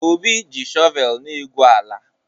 Obi ji shọvel na-egwu ala.